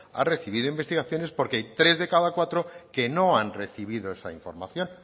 ha recibido investigación es porque hay tres de cada cuatro que no han recibido esa información